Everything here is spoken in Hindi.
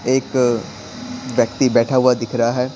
एक व्यक्ति बैठा हुआ दिख रहा है।